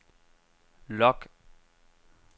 log